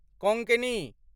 Konkani